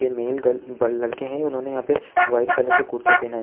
पे मेल गल बल लड़के है उन्होंने यह पे व्हाइट कलर का कुर्ता पहना है।